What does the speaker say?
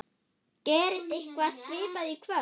Gerist eitthvað svipað í kvöld?